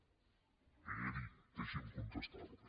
esperi deixi’m contestarli